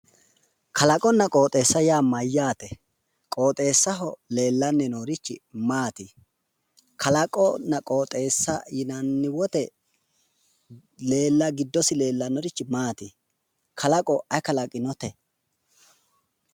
Kalaqonna qooxeessa yaa mayyaate? qooxeessaho leellanni noorichi maati? kalaqonna qooxeessa yinanni woyte giddosi leellannorichi maati? Kalaqo ayi kalaqinote?